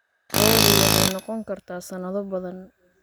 Lo'du waxay noqon kartaa sanado badan.